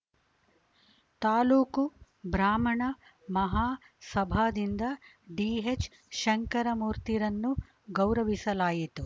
ತಾಲೂಕು ಬ್ರಾಹ್ಮಣ ಮಹಾ ಸಭಾದಿಂದ ಡಿಎಚ್‌ ಶಂಕರಮೂರ್ತಿರನ್ನು ಗೌರವಿಸಲಾಯಿತು